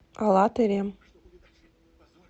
алатырем